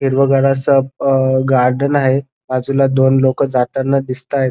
हिरवगार अस गार्डन आहे बाजूला दोन लोक जाताना दिसतात.